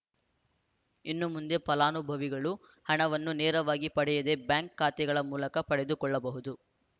ಇನ್ನು ಮುಂದೆ ಫಲಾನುಭವಿಗಳು ಹಣವನ್ನು ನೇರವಾಗಿ ಪಡೆಯದೇ ಬ್ಯಾಂಕ್‌ ಖಾತೆಗಳ ಮೂಲಕ ಪಡೆದುಕೊಳ್ಳಬಹುದು